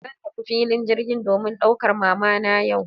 Zan tafi filin jirgi domin daukar mamana yau.